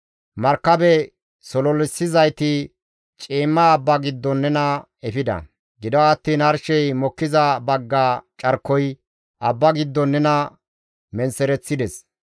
Markabe sololissizayti ciimma abba giddon nena efida; gido attiin arshey mokkiza bagga carkoy abba giddon nena menththereththides.